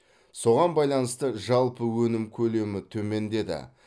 соған байланысты жалпы өнім көлемі төмендеді